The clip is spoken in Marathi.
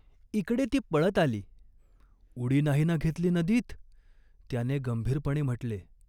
" इकडे ती पळत आली." "उडी नाही ना घेतली नदीत ?" त्याने गंभीरपणे म्हटले.